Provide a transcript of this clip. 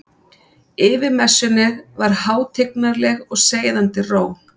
Yfir messunni var hátignarleg og seiðandi ró.